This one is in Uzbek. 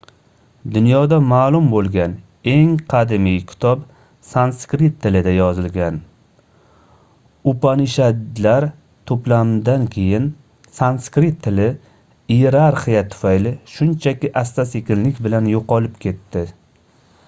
dunyoda maʼlum boʻlgan eng qadimiy kitob sanskrit tilida yozilgan upanishadlar toʻplamidan keyin sanskrit tili iyerarxiya tufayli shunchaki asta-sekinlik bilan yoʻqolib ketdi